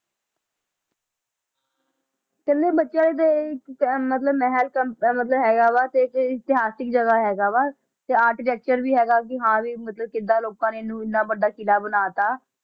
ਕਹਿੰਦੇ ਬੱਚਿਆਂ ਦੇ ਇੱਕ ਕਿ ਮਤਲਬ ਮਹਿਲ ਅਹ ਹੈਗਾ ਵਾ ਤੇ ਇਤਿਹਾਸਕ ਜਗ੍ਹਾ ਹੈਗਾ ਵਾ, ਤੇ architecture ਵੀ ਹੈਗਾ ਕਿ ਹਾਂ ਵੀ ਮਤਲਬ ਕਿੱਦਾਂ ਲੋਕਾਂ ਨੇ ਇਹਨੂੰ ਇੰਨਾ ਵੱਡਾ ਕਿਲ੍ਹਾ ਬਣਾ ਦਿੱਤਾ।